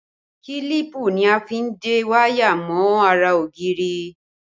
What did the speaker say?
Kílípù ni a fi ń de wáyà mọ́ ara ògiri